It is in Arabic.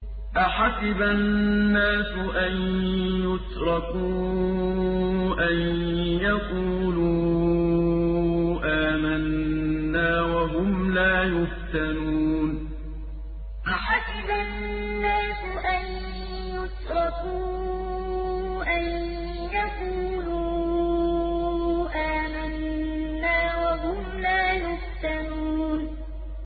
أَحَسِبَ النَّاسُ أَن يُتْرَكُوا أَن يَقُولُوا آمَنَّا وَهُمْ لَا يُفْتَنُونَ أَحَسِبَ النَّاسُ أَن يُتْرَكُوا أَن يَقُولُوا آمَنَّا وَهُمْ لَا يُفْتَنُونَ